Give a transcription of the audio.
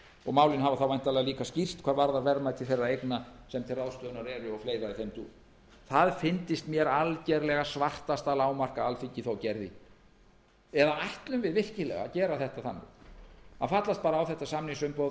og málin hafa þá væntanlega líka skýrst hvað varðar verðmæti þeirra eigna sem til ráðstöfunar eru og fleira í þeim dúr það fyndist mér algerlega svartasta lágmark að alþingi þó gerði eða ætlum við virkilega að gera þetta þannig að fallast bara á þetta samningsumboð